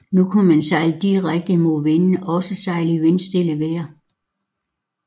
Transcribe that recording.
Nu kunne man sejle direkte mod vinden og også sejle i vindstille vejr